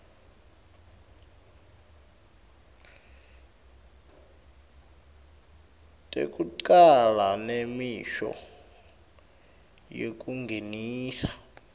tekucala nemisho yekungenisa